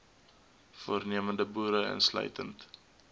voornemende boere insluitend